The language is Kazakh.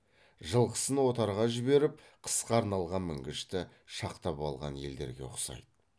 жылқысын отарға жіберіп қысқа арналған мінгішті шақтап алған елдерге ұқсайды